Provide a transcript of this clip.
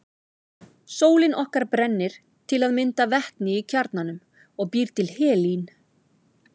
Sólin okkar brennir til að mynda vetni í kjarnanum og býr til helín.